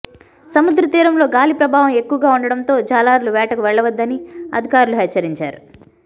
సముద్ర తీరంలో గాలి ప్రభావం ఎక్కువగా ఉండటంతో జాలర్లు వేటకు వెళ్లవద్దని అధికారులు హెచ్చరించారు